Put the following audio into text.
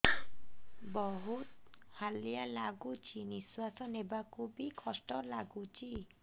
ବହୁତ୍ ହାଲିଆ ଲାଗୁଚି ନିଃଶ୍ବାସ ନେବାକୁ ଵି କଷ୍ଟ ଲାଗୁଚି